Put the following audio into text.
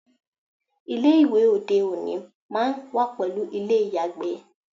Ilé ìwẹ̀ òde òní máá ń wà pẹ̀lú ilé ìyàgbẹ̀